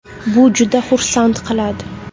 Bu juda xursand qiladi.